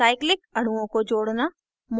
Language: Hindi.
cyclic अणुओं को जोड़ना